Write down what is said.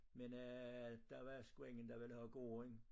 Men øh der var sgu ingen der ville have gården